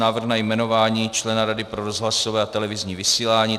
Návrh na jmenování člena Rady pro rozhlasové a televizní vysílání